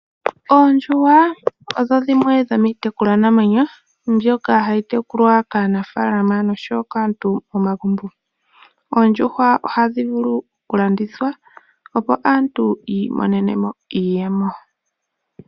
Oondjuhwa odho dhimwe dhomiitekulwanamwenyo mbyoka hayi tekulwa kaanafaalama nosho wo kaantu momagumbo. Oondjuhwa ohadhi vulu okulandithwa, opo aantu yi imonene mo iiyemo.